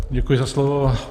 Děkuji za slovo.